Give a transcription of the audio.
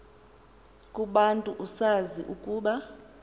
kubantu usazi ukuba